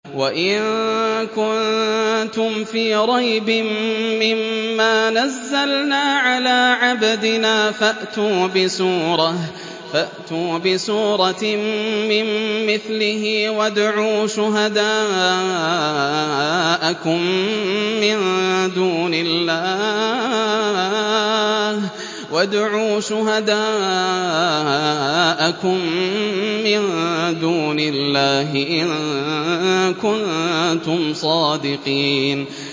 وَإِن كُنتُمْ فِي رَيْبٍ مِّمَّا نَزَّلْنَا عَلَىٰ عَبْدِنَا فَأْتُوا بِسُورَةٍ مِّن مِّثْلِهِ وَادْعُوا شُهَدَاءَكُم مِّن دُونِ اللَّهِ إِن كُنتُمْ صَادِقِينَ